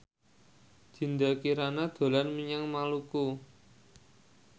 Dinda Kirana dolan menyang Maluku